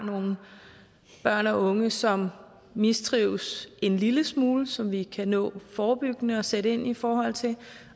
nogle børn og unge som mistrives en lille smule som vi kan nå forebyggende og sætte ind i forhold til